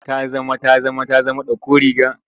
Ta zama ta zama ta zama ɗauko riga.